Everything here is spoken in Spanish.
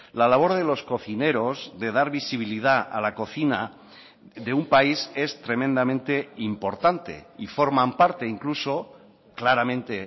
la labor de los cocineros de dar visibilidad a la cocina de un país es tremendamente importante y forman parte incluso claramente